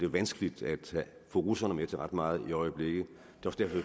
vanskeligt at få russerne med til ret meget i øjeblikket